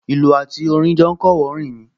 Ìlù àti orin jọ ń kọ́wọ̀ọ́rìn ni